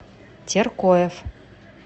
теркоев